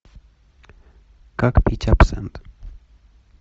как пить абсент